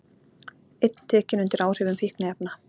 Einn tekinn undir áhrifum fíkniefna